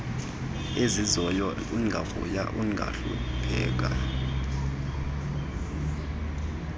ezizayo ungavuya ungahlupheka